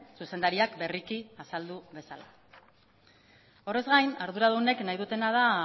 zuzendariak berriki azaldu bezala horrez gain arduradunek nahi dutena da